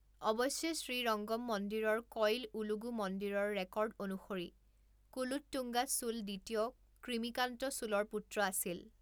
অৱশ্যে, শ্ৰীৰঙ্গম মন্দিৰৰ কইল ওলুগু মন্দিৰৰ ৰেকৰ্ড অনুসৰি কুলোট্টুঙ্গা চোল দ্বিতীয় কৃমিকান্ত চোলৰ পুত্ৰ আছিল।